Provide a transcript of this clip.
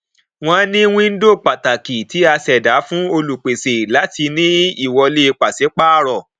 wọn ní wíńdò pàtàkì tí a ṣẹdá fún olùpèsè láti ní ìwọlé pàṣípààrọ